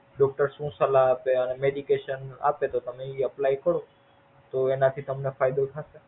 Doctor શું સલાહ આપે આ આપે તો એ Apply કરો તો એનાથી તમને ફાયદો થશે.